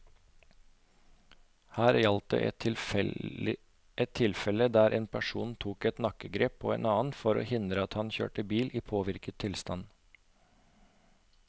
Her gjaldt det et tilfelle der en person tok et nakkegrep på en annen for å hindre at han kjørte bil i påvirket tilstand.